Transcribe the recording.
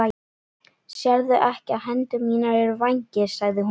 Sérðu ekki að hendur mínar eru vængir? sagði hún.